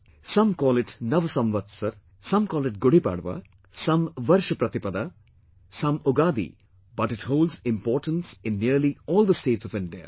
Some call it Nav Samvatsar, some call it Gudi Padva, some Varsh Pratipada, some Ugadi, but it holds importance in nearly all the states of India